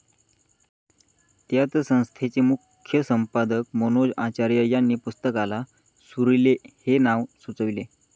त्याच संस्थेचे मुख्यसंपादक मनोज आचार्य यांनी पुस्तकाला 'सुरीले' हे नाव सुचवले